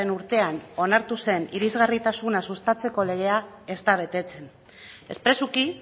urtean onartu zen irisgarritasuna sustatzeko legea ez da betetzen espresuki